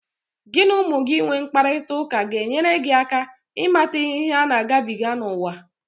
Gị na ụmụ gị inwe mkparịtaụka ga-enyere gị aka ịmata ihe ha na-agabiga n'uwa.